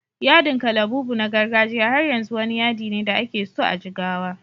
Yadin kalabubu na gargajiya har yanzu wani yadi ne da ake so a Jigawa.